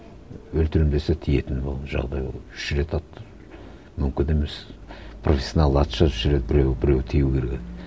өлтіремін десе тиетін жағдай ол үш рет атты мүмкін емес профессионал атса үш рет біреуі біреуі тию керек еді